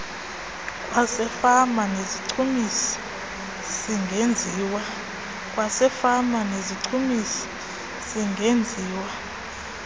kwasefama nezichumisi singenziwa